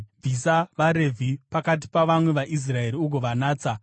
“Bvisa vaRevhi pakati pavamwe vaIsraeri ugovanatsa.